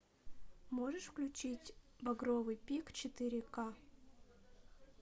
можешь включить багровый пик четыре к